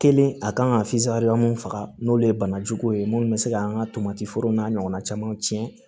Kelen a kan ka mun faga n'olu ye bana jugu ye minnu bɛ se k'an ka tomati forow n'a ɲɔgɔnna camanw tiɲɛ